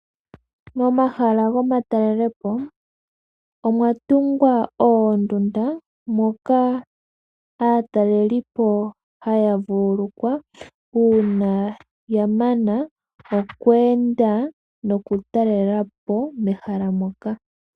Momahala gomatalelepo omwa tungwa oondunda moka aatalelipo haya vululukwa uuna ya mana okweenda nokutalela po mehala moka.